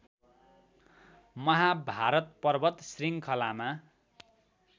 महाभारत पर्वत श्रृङ्खलामा